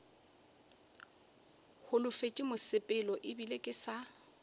holofetše mosepelo ebile ke sa